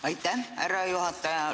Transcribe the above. Aitäh, härra juhataja!